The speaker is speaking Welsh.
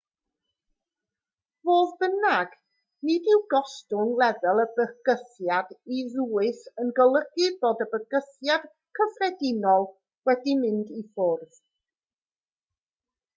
fodd bynnag nid yw gostwng lefel y bygythiad i ddwys yn golygu bod y bygythiad cyffredinol wedi mynd i ffwrdd